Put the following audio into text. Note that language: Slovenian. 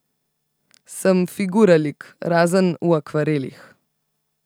Sem figuralik, razen v akvarelih.